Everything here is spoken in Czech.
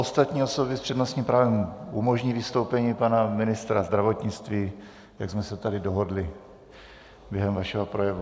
Ostatní osoby s přednostním právem umožní vystoupení pana ministra zdravotnictví, jak jsme se tady dohodli během vašeho projevu.